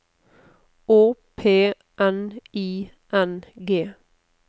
Å P N I N G